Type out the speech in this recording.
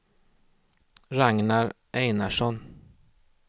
Ragnar Einarsson